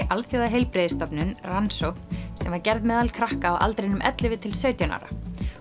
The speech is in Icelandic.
Alþjóðaheilbrigðisstofnunin rannsókn sem var gerð meðal krakka á aldrinum ellefu til sautján ára